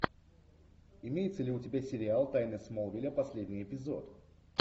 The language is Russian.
имеется ли у тебя сериал тайны смолвиля последний эпизод